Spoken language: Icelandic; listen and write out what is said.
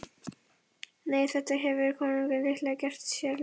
Nei, þetta hefur konungurinn líklega gert sér ljóst.